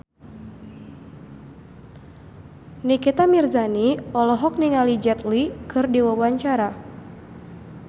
Nikita Mirzani olohok ningali Jet Li keur diwawancara